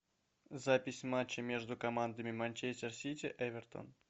запись матча между командами манчестер сити эвертон